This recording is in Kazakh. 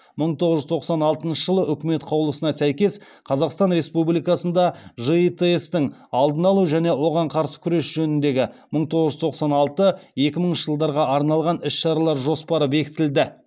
мың тоғыз жүз тоқсан алтыншы жылы үкімет қаулысына сәйкес қазақстан республикасында житс тың алдын алу және оған қарсы күрес жөніндегі мың тоғыз жүз тоқсан алтыншы екімыншы жылдарға арналған іс шаралар жоспары бекітілді